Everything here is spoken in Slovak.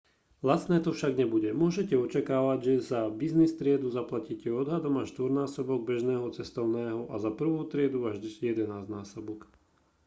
lacné to však nebude môžete očakávať že za business triedu zaplatíte odhadom až štvornásobok bežného cestovného a za prvú triedu až jedenásťnásobok